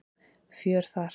Fjör þar.